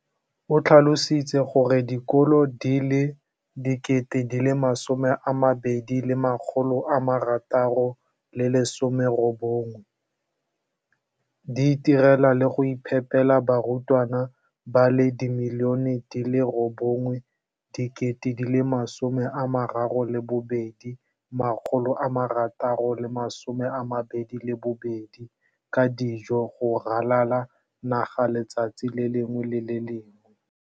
o tlhalositse gore dikolo di le 20 619 di itirela le go iphepela barutwana ba le 9 032 622 ka dijo go ralala naga letsatsi le lengwe le le lengwe.